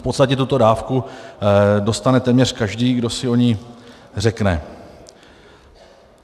V podstatě tuto dávku dostane téměř každý, kdo si o ni řekne.